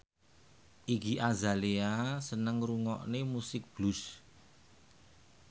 Iggy Azalea seneng ngrungokne musik blues